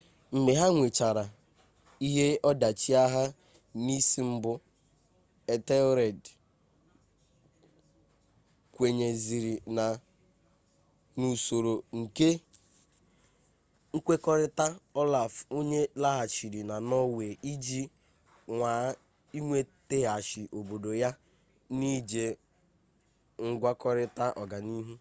mgbe ha nwechara ihe ọdachi agha n'isi mbụ ethelred kwenyeziri n'usoro nke nkwekọrịta olaf onye laghachịrị na norway iji nwaa iwetaghachi obodo ya n'iji ngwakọrịta ọganiihu